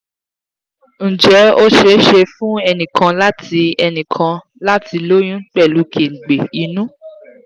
ǹjẹ́ ó ṣeé ṣe fún ẹnì kan láti ẹnì kan láti lóyún pelu kengbe inu?